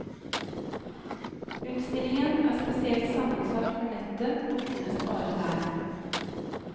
Utstillingen er spesielt sammensatt for nettet og finnes bare der.